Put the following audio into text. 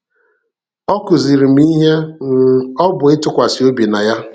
Ọ kụziiri m ihe um ọ bụ ịtụkwasị obi na Ya.